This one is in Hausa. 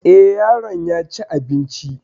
Eh, yaron yaci abinci